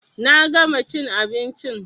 Na gama chin abinchin